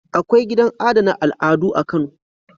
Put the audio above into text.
Akwai gidan adana al'adu a Kano.